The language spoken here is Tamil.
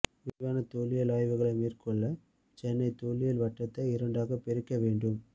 விரிவான தொல்லியல் ஆய்வுகளை மேற்கொள்ள சென்னை தொல்லியல் வட்டத்தை இரண்டாக பிரிக்க வேண்டும்